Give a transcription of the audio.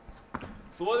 þvoði